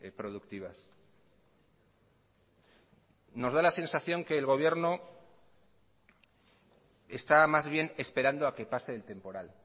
productivas nos da la sensación que el gobierno está más bien esperando a que pase el temporal